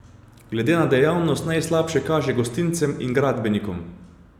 Glede na dejavnost najslabše kaže gostincem in gradbenikom.